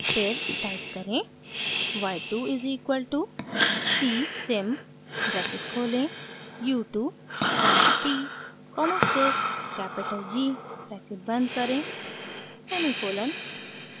फिर टाइप करें: y 2 is equal to c sim bracket खोलें u 2 comma t comma sys capital g bracket बंद करें semicolon